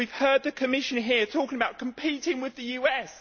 We have heard the Commission here talking about competing with the USA.